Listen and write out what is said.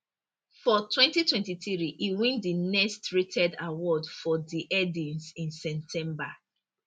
for 2023 e win di next rated award for di headies in september